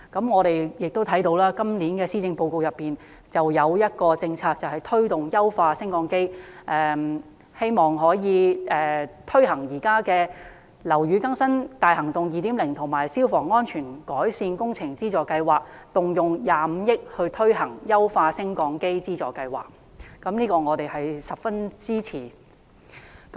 我們亦看到，今年的施政報告中有一項政策推動優化升降機，參考現時"樓宇更新大行動 2.0" 以及"消防安全改善工程資助計劃"，動用25億元推行"優化升降機資助計劃"，我們表示十分支持。